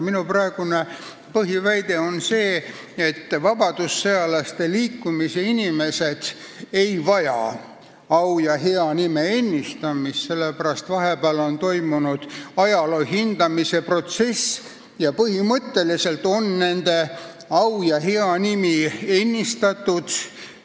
Minu praegune põhiväide on see, et vabadussõjalaste au ja hea nime ennistamist pole vaja, sellepärast et vahepeal on ajalugu ümber hinnatud ja põhimõtteliselt on nende au ja hea nimi ennistatud.